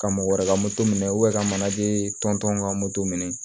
Ka mɔgɔ wɛrɛ ka moto minɛ ka manaje tɔn ka moto minɛ